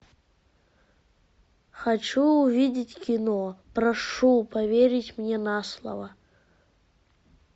хочу увидеть кино прошу поверить мне на слово